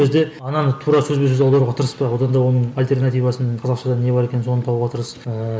ол кезде ананы тура сөзбе сөз аударуға тырыспа одан да оның альтернативасын қазақша не бар екенін соны табуға тырыс ыыы